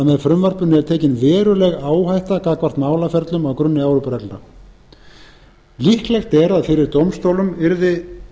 með frumvarpinu er tekin veruleg áhætta gagnvart málaferlum á grunni evrópureglna líklegt er að fyrir dómstólum yrði